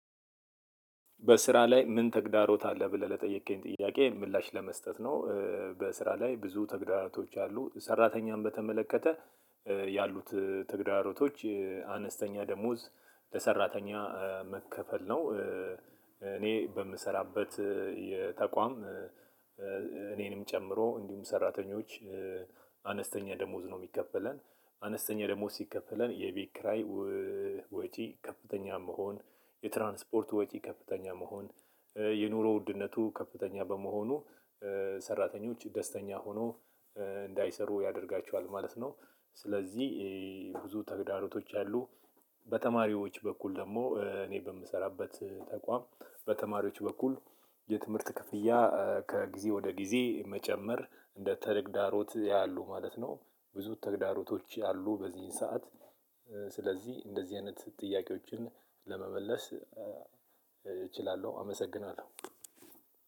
በስራ ላይ ምን ተግዳሮት አለ? ብለህ ለጠየከኝ ጥያቄ ምላሽ ለመስጠት ነው። በስራ ላይ ብዙ ተግዳሮቶች አሉ ሰራተኛን በተመለከተ ያሉት ተግዳሮቶች አነስተኛ ደሞዝ ለሰራተኛ መከፈል ነው። እኔ በምሰራበት የተቋም እኔንም ጨምሮ እንዲሁም ሰራተኞች። አነስተኛ ደሞዝ ነው የሚከፈለን አነስተኛ ደግሞ ሲከፈለን የቢክራይ ወጪ ከፍተኛ መሆን፣ የትራንስፖርት ወጪ ከፍተኛ መሆን፣ የኑሮ ውድነቱ ከፍተኛ በመሆኑ ሰራተኞች ደስተኛ ሆኖ እንዳይሰሩ ያደርጋቸዋል ማለት ነው። ስለዚህ ብዙ ተግዳሮቶች ያሉ። በተማሪዎች በኩል ደግሞ እኔ በምሰራበት ተቋም በተማሪዎች በኩል የትምህርት ክፍያ ከጊዜ ወደ ጊዜ መጨመር እንደ ተግዳሮት ያያሉ ማለት ነው። ብዙ ተግዳሮቶች ያሉ በዚህን ሰዓት። ስለዚህ እንደዚህ አይነት ጥያቄዎችን ለመመለስ እችላለሁ አመሰግናለሁ።